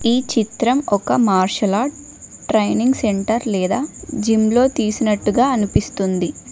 ఈ చిత్రం ఒక మార్షల్ ట్రైనింగ్ సెంటర్ లేదా జిమ్ లో తీసినట్టుగా అనిపిస్తుంది.